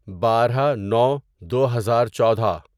بارہ نو دوہزار چودہ